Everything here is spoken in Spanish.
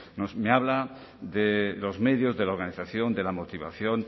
me habla de los medios de la organización de la motivación